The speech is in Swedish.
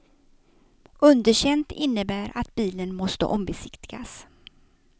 Underkänt innebär att bilen måste ombesiktigas.